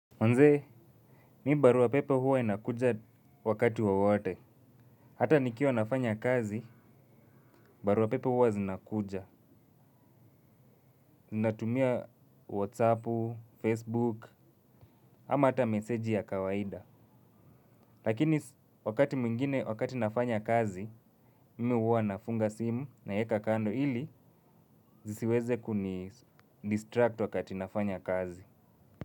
Manze, mimi barua pepe huwa inakuja wakati wowote. Hata nikiwa nafanya kazi, barua pepe huwa zinakuja. Ninatumia Whatsappu, Facebook, ama hata meseji ya kawaida. Lakini wakati mwingine wakati nafanya kazi, mimi huwa nafunga simu naeka kando ili zisiweze kunidistract wakati nafanya kazi.